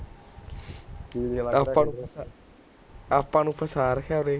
ਆਪਾਂ ਨੂੰ ਫਸਾ ਰੱਖਿਆ ਉਰੇ